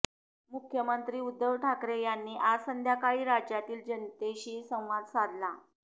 मुख्यमंत्री उद्धव ठाकरे यांनी आज संध्याकाळी राज्यातील जनतेशी संवाद साधला